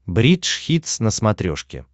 бридж хитс на смотрешке